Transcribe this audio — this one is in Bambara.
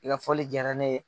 I ka fɔli diyara ne ye.